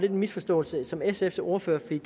en misforståelse som sfs ordfører fik